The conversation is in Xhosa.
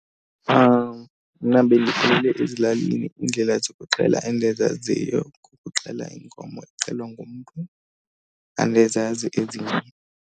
Mna bendikhulele ezilalini, iindlela zokuxhela endizaziyo kukuxhela inkomo ixhelwa ngumntu, andizazi ezinye.